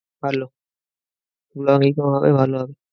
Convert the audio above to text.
ভালো vlogging ও হবে ভালো হবে।